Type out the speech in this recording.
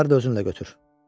Bunları da özünlə götür.